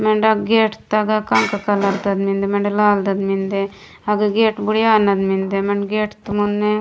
मेंडे गेट तगा कंका कलर ता मेन्दे मेंडे लाल तग मेन्दे हग गेट बुडिया नन मेन्दे मेंडे गेट मुने --